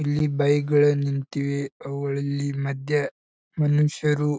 ಇಲ್ಲಿ ಬೈಕ್ ಗಳು ನಿಂತಿವೆ ಅವುಗಳಲ್ಲಿ ಮಧ್ಯ ಮನುಷ್ಯರು --